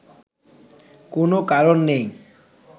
কোনও কারণ নেই